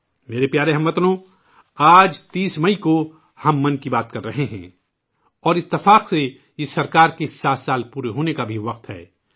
میرے پیارے ہم وطنو ، آج 30 مئی کو ہم 'من کی بات' کر رہے ہیں اور اتفاق سے یہ حکومت کے 7 سال پورے ہونے کا بھی وقت ہے